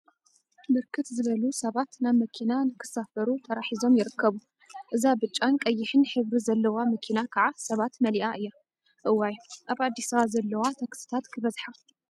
ብርክት ዝበሉ ሰባት ናብ መኪና ንክሳፈሩ ተራ ሒዞም ይርከቡ፡፡ እዛ ብጫን ቀይሕን ሕብሪ ዘለዋ መኪና ከዓ ሰባት መሊአ እያ፡፡ እዋይ! አብ አዲስ አበባ ዘለዋ ታክሲታት ክበዝሓ፡፡